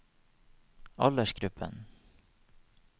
aldersgruppen